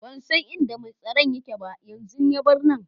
Ban san inda mai tsaron yake ba, yanzun ya bar nan.